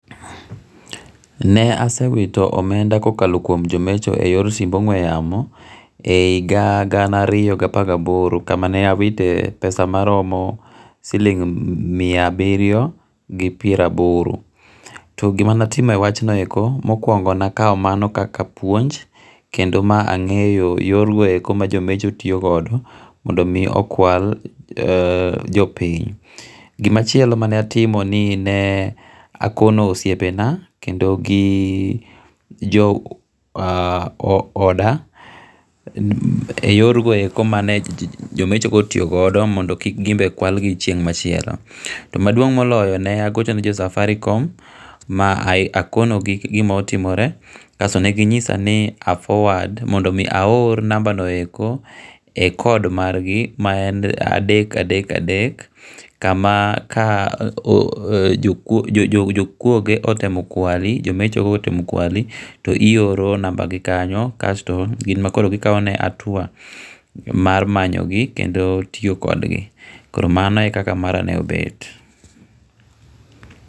Ne asewito omenda ka okalo kuom jomecho e yor simb ongwe yamo, e higa gana riyo gi apar gi aboro kamane awite e pesa maromo siling' mia abirio gi pieraboro, to gimane atimo e wachno eko, mokuongo ne akawo mano kaka puonj kendo ma ange'yo yorgo eko ma jo mecho tiyogodo mondo omi okwal jo piny, gimachielo ne atimo ni nee akono osiepena to gii jo oda e yor go eko mane jomechogo otoyogodo mondo kik gimbe kwalgi chieng' machielo, to maduong' moloyo ne agochone jo Safaricom ma akonogi gima otimore kasto neginyisa ni a forward mondo mi aor number no eko e cord margi ma en adek, adek, adek kama ka jokuoge otemo kwali, jomechogo otemo kwali to ioro number gi kanyo kasto gin ma koro gikawone atuwa mar manyogi kendo tiyo kodgi koro mano e kika marano obet.